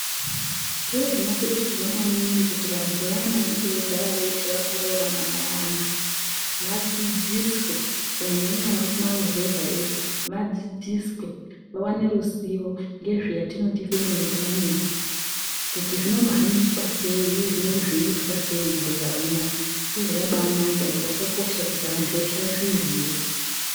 Zviro zvinokurudzirwa maningi kuti vantu vayana vanenge veigara veshe vakaroorana vayana vadzidziswe Kunyanyanyanya vari kumaruzevha yoiyo vadzidziswe awane ruzivo ngezve yatinoti femili puraningi. Kuti zvinombohambiswa sei uye zvinenge zveiitwa sei mukugara kunoku. Zviro zvakabanaka ende zvakakosha kuti antu eshe azviziye.